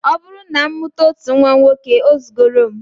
Ọ bụrụ na m mụta otu nnwa nwoke, o zugoro m